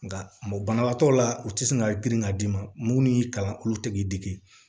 Nka banabaatɔ la u tɛ sɔn ka girin ka d'i ma mun n'i kalan olu tɛ k'i dege